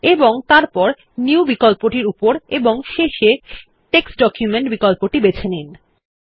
এবং তারপর নিউ বিকল্পটির উপর এবং শেষে টেক্সট ডকুমেন্ট বিকল্পটির বেছে নিন